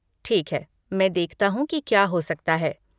ठीक है, मैं देखता हूँ की क्या हो सकता है।